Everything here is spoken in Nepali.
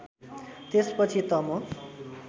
त्यसपछि त म